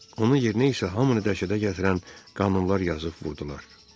Onun yerinə isə hamını dəhşətə gətirən qanunlar yazıb vurdular.